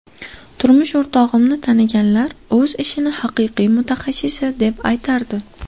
Turmush o‘rtog‘imni taniganlar o‘z ishini haqiqiy mutaxassisi deb aytardi.